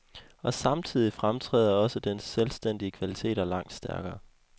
Og samtidigt fremtræder også dens selvstændige kvaliteter langt stærkere.